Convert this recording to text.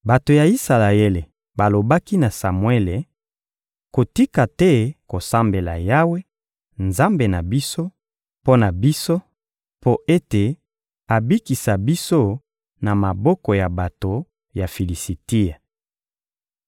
Bato ya Isalaele balobaki na Samuele: «Kotika te kosambela Yawe, Nzambe na biso, mpo na biso mpo ete abikisa biso na maboko ya bato ya Filisitia.»